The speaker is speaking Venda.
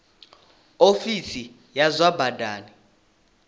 ofisi ya zwa badani i